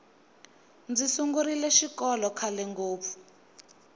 ndzi sungurile xikolokhale ngopfu